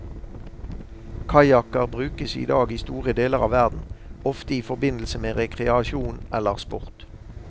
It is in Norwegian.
Kajakker brukes idag i store deler av verden, ofte i forbindelse med rekreasjon eller sport.